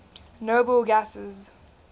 noble gases